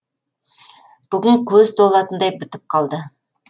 бүгін көз толатындай бітіп қалды